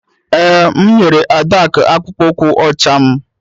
Ee, m nyere Adaku akpụkpọ ụkwụ ọcha m